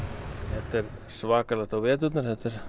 þetta er svakalegt á veturna